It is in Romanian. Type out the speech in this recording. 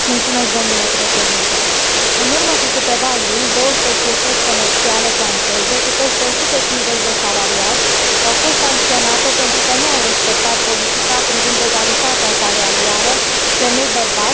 În urmă cu câteva luni, două societăți comerciale franceze cu peste 150 de salariați au fost sancționate pentru că nu au respectat politica privind egalitatea salarială femei bărbați, fapt ce constituie o premieră.